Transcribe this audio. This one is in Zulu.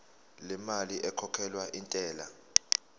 lemali ekhokhelwa intela